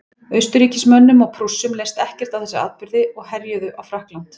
austurríkismönnum og prússum leist ekkert á þessa atburði og herjuðu á frakkland